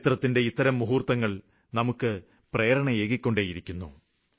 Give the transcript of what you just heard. ചരിത്രത്തിന്റെ ഇത്തരം മുഹൂര്ത്തങ്ങള് നമുക്ക് പ്രേരണയേകിക്കൊണ്ടിരിക്കുന്നു